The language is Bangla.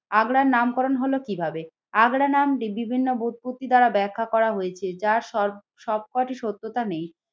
আগ্রার নামকরণ হলো কিভাবে, আগ্রা নাম বিভিন্ন বোটপত্তি দ্বারা ব্যাখ্যা করা হয়েছে যার সবসবকটি সত্যতা নেই।